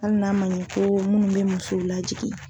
Hali n'a ma ɲɛ ko munnu be muso lajigi.